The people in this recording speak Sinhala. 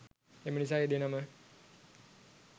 එමනිසා ඒ දෙනම